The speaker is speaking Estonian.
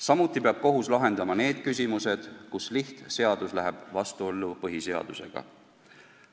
Samuti peab kohus lahendama need küsimused, mille puhul lihtseadus läheb vastuollu põhiseadusega.